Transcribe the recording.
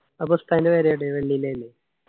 അപ്പൊ ഉസ്താദിൻ്റെ വേറെ അവിടെ വണ്ടി ഇല്ല ല്ലേ